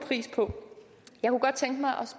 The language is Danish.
vi står